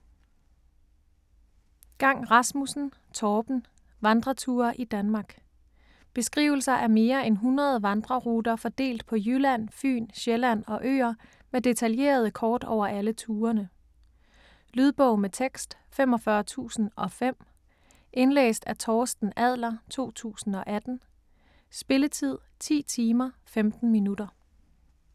Gang Rasmussen, Torben: Vandreture i Danmark Beskrivelser af mere end 100 vandreruter fordelt på Jylland, Fyn, Sjælland og øer med detaljerede kort over alle turene. Lydbog med tekst 45005 Indlæst af Torsten Adler, 2018. Spilletid: 10 timer, 15 minutter.